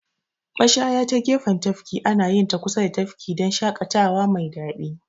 Mashaya ta gefen tafki anayinta kusa da tafki dan shaƙatawa mai daɗi.